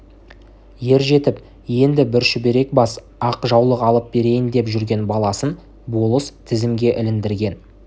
ер жетіп енді бір шүберек бас ақ жаулық алып берейін деп жүрген баласын болыс тізімге іліндірген